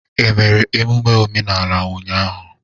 E mere emume omenala ụnyahụ?